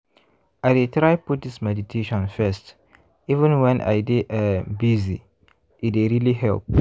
i dey try put this meditation first even when i dey um busy- e dey really help.